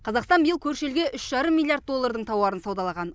қазақстан биыл көрші елге үш жарым миллиард доллардың тауарын саудалаған